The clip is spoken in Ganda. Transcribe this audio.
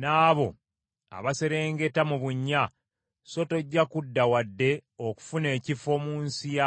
n’abo abaserengeta mu bunnya, so tojja kudda wadde okufuna ekifo mu nsi ya balamu.